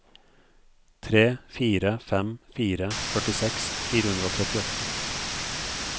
tre fire fem fire førtiseks fire hundre og trettiåtte